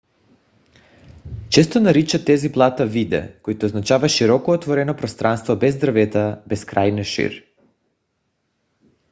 често наричат тези плата vidde което означава широко отворено пространство без дървета безкрайна шир